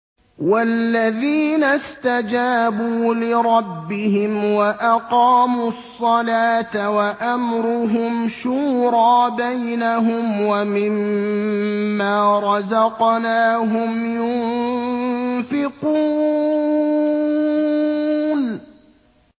وَالَّذِينَ اسْتَجَابُوا لِرَبِّهِمْ وَأَقَامُوا الصَّلَاةَ وَأَمْرُهُمْ شُورَىٰ بَيْنَهُمْ وَمِمَّا رَزَقْنَاهُمْ يُنفِقُونَ